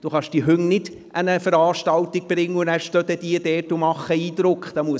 Es ist nicht möglich, die Hunde an eine Veranstaltung zu bringen, wo sie dann stehen und Eindruck machen.